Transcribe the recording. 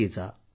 नक्की जा